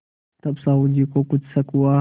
तब साहु जी को कुछ शक हुआ